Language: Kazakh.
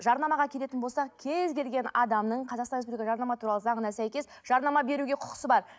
жарнамаға келетін болсақ кез келген адамның қазақстан республика жарнама туралы заңына сәйкес жарнама беруге құқысы бар